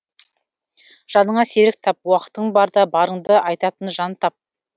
жаныңа серік тап уақытың барда барыңды айтатын жан тап